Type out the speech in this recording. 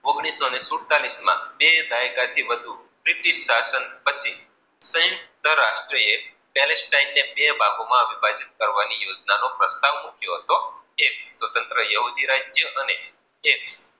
ઓગણીસો સુડતાલીસ માં બે દાયકા થી વધુ બ્રિટિશ સાસણ પછી સંત્રત્ય રાટ્રેય પેલીસ ટાઇમ મે બે ભાગો માં વિભાજીત કરવાનો પ્રસ્તાવ મૂક્યો હતો એટલે સ્વત્રત યોગી રાજ્ય અને એક